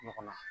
Ɲɔgɔn na